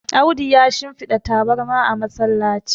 Audu ya shimfada tabarma a masallaci